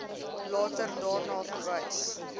later daarna verwys